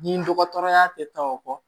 Ni dɔgɔtɔrɔya tɛ taa o kɔ